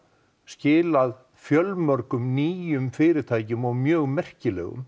skilað fjölmörgum nýjum fyrirtækjum og mjög merkilegum